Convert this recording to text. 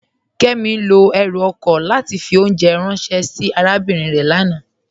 Kẹmi lọ èrú oko látì fì ọ̀unjẹ̀ ránsẹ̀ sí àràbínrin rẹ̀ lánà.